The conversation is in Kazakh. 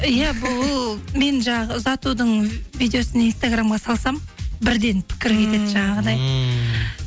иә бұл мен жаңағы ұзатудың видеосын инстаграмға салсам бірден пікір кетеді жаңағыдай ммм